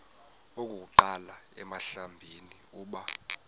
okokuqala emhlabeni uba